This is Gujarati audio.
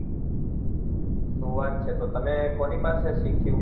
સુ વાત છે તો તમે કોની પાસે શીખ્યું